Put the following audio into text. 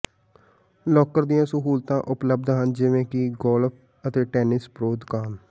locker ਦੀਆਂ ਸਹੂਲਤਾਂ ਉਪਲਬਧ ਹਨ ਜਿਵੇਂ ਕਿ ਗੋਲਫ ਅਤੇ ਟੈਨਿਸ ਪ੍ਰੋ ਦੁਕਾਨ